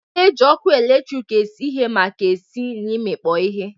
A na-eji ọkụ eletrik esi ihe maka esi na imikpo ihe.